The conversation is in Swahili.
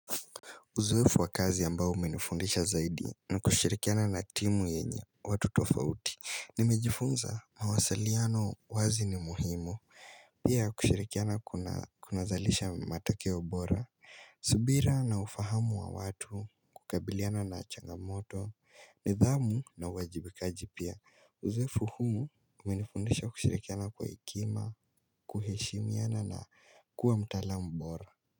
Uzoefu wa kazi ambao umenifundisha zaidi ni kushirikiana na timu yenye watu tofauti. Nimejifunza mawasaliano wazi ni muhimu. Pia kushirikiana kunazalisha matokeo bora. Subira na ufahamu wa watu, kukabiliana na changamoto, nidhamu na uwajibikaji pia. Uzoefu huu umenifundisha kushirikiana kwa hekima, kuheshimiana na kuwa mtaalam mbora.